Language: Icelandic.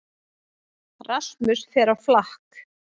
Rasmus fer á flakk